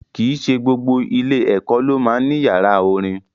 Kì í ṣe gbogbo ilé-ẹ̀kọ́ ló máa ń ní yàrá orin.